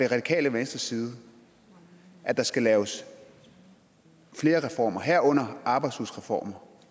radikale venstres side at der skal laves flere reformer herunder arbejdsudbudsreformer